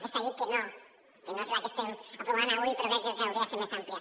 aquesta llei que no és la que estem aprovant avui però crec que hauria de ser més àmplia